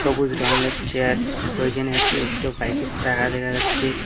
সবুজ রঙের চেয়ার ওইখানে আছে একটু বাইকের চাকা দেখা যাচ্ছে।